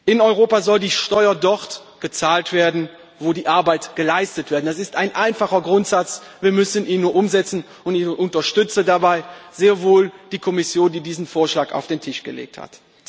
In Europa soll die Steuer dort bezahlt werden, wo die Arbeit geleistet wird. Das ist ein einfacher Grundsatz wir müssen ihn nur umsetzen, und ich unterstütze dabei sehr wohl die Kommission, die diesen Vorschlag auf den Tisch gelegt hat.